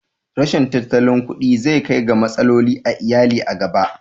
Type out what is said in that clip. Rashin tattalin kuɗi zai kai ga matsaloli a iyali a gaba